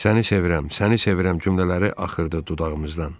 “Səni sevirəm, səni sevirəm” cümlələri axırdı dudağımızdan.